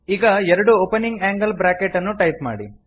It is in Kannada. ಈಗ ಎರಡು ಒಪನಿಂಗ್ ಆಂಗಲ್ ಬ್ರಾಕೆಟ್ ಅನ್ನು ಟೈಪ್ ಮಾಡಿ